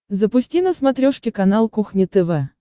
запусти на смотрешке канал кухня тв